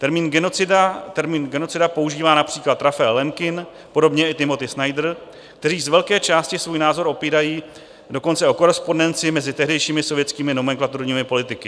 Termín genocida používá například Raphael Lemkin, podobně i Timothy Snyder, kteří z velké části svůj názor opírají dokonce o korespondenci mezi tehdejšími sovětskými nomenklaturními politiky.